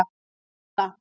Lana